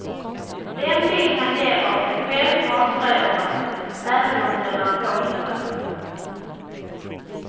Den bild han ger av sig själv avslöjar honom, även om den är påhittad.